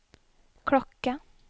klokke